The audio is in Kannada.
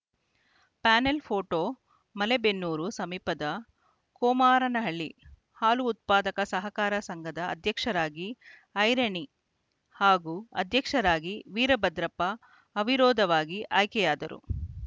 ಪ್ಯಾನೆಲ್‌ ಫೋಟೋ ಮಲೇಬೆನ್ನೂರು ಸಮೀಪದ ಕೊಮಾರನಹಳ್ಳಿ ಹಾಲು ಉತ್ಪಾದಕರ ಸಹಕಾರ ಸಂಘದ ಅಧ್ಯಕ್ಷರಾಗಿ ಐರಣಿ ಹಾಗೂ ಅಧ್ಯಕ್ಷರಾಗಿ ವೀರಭದ್ರಪ್ಪ ಅವಿರೋಧವಾಗಿ ಆಯ್ಕೆಯಾದರು